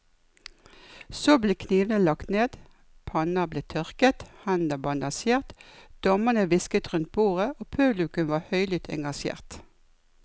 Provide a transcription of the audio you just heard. Så ble knivene lagt ned, panner ble tørket, hender bandasjert, dommerne hvisket rundt bordet og publikum var høylytt engasjert.